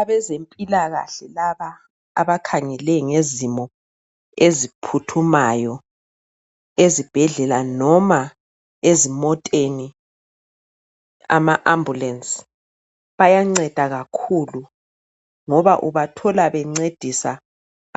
Abazempilakahle laba abakhangele ngezimo eziphuthumayo ezibhedlela noma ezimoteni, ama ambulensi. Bayanceda kakhulu ngoba ubathola bencedisa